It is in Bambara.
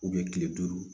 kile duuru